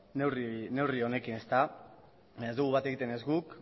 neurri honekin baina ez dugu bat egiten ez guk